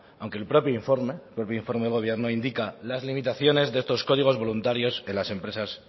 aunque el propio informe el propio informe de gobierno indica las limitaciones de estos códigos voluntarios en las empresas